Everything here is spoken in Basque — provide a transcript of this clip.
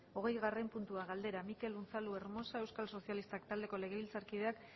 hogeigarren puntua galdera mikel unzalu hermosa euskal sozialistak taldeko legebiltzarkideak